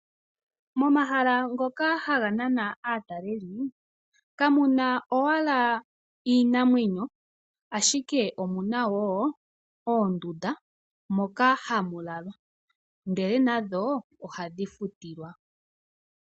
Momahala ngoka haga nana aataleli kamuna owala iinamwenyo ashike omuna woo oondunda moka hamulalwa ihe nadho ohadhi futilwa.